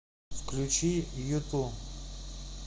включи юту